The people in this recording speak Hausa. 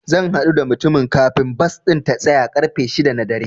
Zan haɗu da mutumin kafin bas ɗin ta tsaya ƙarfe shida na dare.